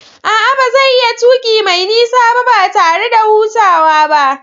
A'a, ba zai iya tuki mai nisa ba, ba tare da hutawa ba.